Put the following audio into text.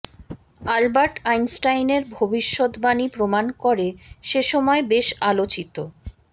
Albert আইনস্টাইনের ভবিষ্যদ্বাণী প্রমাণ করে সে সময় বেশ আলোচিত